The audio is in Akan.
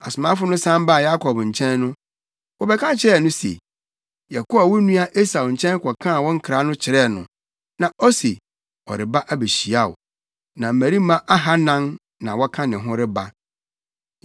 Asomafo no san baa Yakob nkyɛn no, wɔbɛka kyerɛɛ no se, “Yɛkɔɔ wo nua Esau nkyɛn kɔkaa wo nkra no kyerɛɛ no, na ose ɔreba abehyia wo, na mmarima ahannan na wɔka ne ho reba.”